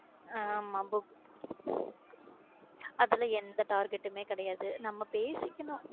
அம book அதுல எந்த target டுமே கிடையாது நம்ம பேசிக்கணும்